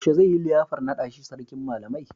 Yaushe zai yi liyafar naɗa shi Sarkin Malamai?